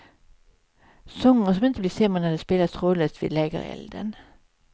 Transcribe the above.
Sånger som inte blir sämre när de spelas trådlöst vid lägerelden.